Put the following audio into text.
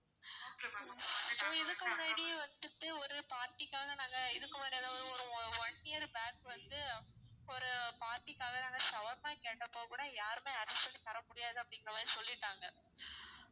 so இதுக்கு முன்னாடி வந்துட்டு ஒரு party க்காக நாங்க இதுக்கு ஒரு one year back வந்து ஒரு party க்காக நாங்க shawarma கேட்டப்போக்கூட யாருமே தர முடியாது அப்படிங்குற மாதிரி சொல்லிட்டாங்க